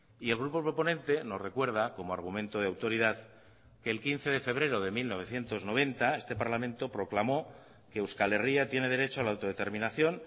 y el grupo proponente nos recuerda como argumento de autoridad que el quince de febrero de mil novecientos noventa este parlamento proclamó que euskal herria tiene derecho a la autodeterminación